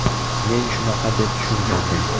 Men shunaqa deb tushungandim.